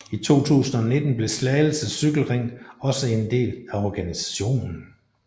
I 2019 blev Slagelse Cykle Ring også en del af organisationen